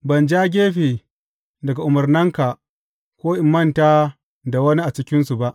Ban ja gefe daga umarnanka ko in manta da wani a cikinsu ba.